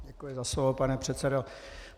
Děkuji za slovo, pane předsedo.